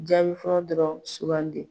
Jaabi fɔlɔ dɔrɔn sugandi.